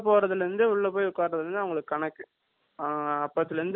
அ அப்பயிருந்து two hours ஒ two and hours ஓ தருவாங்க